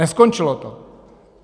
Neskončilo to.